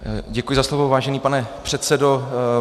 Děkuji za slovo, vážený pane předsedo.